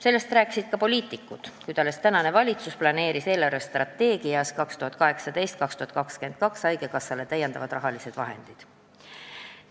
Sellest rääkisid ka poliitikud, kuid alles tänane valitsus planeeris 2018.–2022. aasta eelarvestrateegias haigekassale rahalisi lisavahendeid.